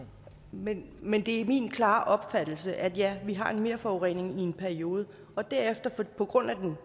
men men det er min klare opfattelse at ja vi har en merforurening i en periode og derefter på baggrund af den